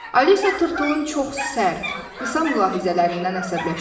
Alisa tırtılın çox sərt, qısa mülahizələrindən əsəbləşmişdi.